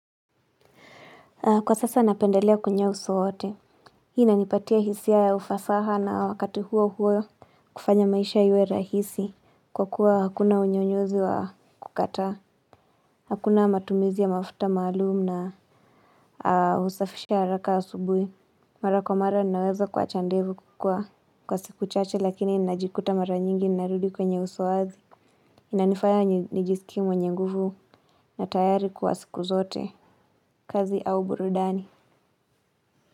Kwa sasa napendelea kwenye uso wote. Hii inanipatia hisia ya ufasaha na wakati huo huo. Kufanya maisha iwe rahisi. Kwa kuwa hakuna unyonyozi wa kukataa. Hakuna matumizi ya mafuta maalumu na kusafisha haraka asubuhi. Mara kwa mara ninaweza kuwacha ndevu kukua. Kwa siku chache lakini najikuta mara nyingi narudi kwenye uso wazi. Inanifaya nijisikie mwenye nguvu na tayari kwa siku zote. Kazi au burudani.